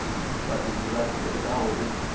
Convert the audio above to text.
vhabebi vha ṱo ḓaho u